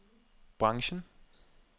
branchen